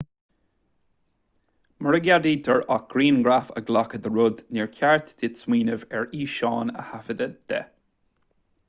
mura gceadaítear ach grianghraf a ghlacadh de rud níor cheart duit smaoineamh ar fhíseán a thaifeadadh de